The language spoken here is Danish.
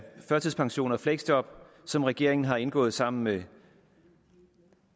førtidspension og fleksjob som regeringen har indgået sammen med